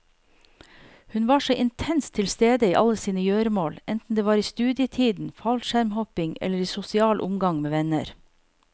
Hun var så intenst tilstede i alle sine gjøremål enten det var i studietiden, fallskjermhopping, eller i sosial omgang med venner.